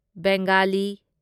Bengali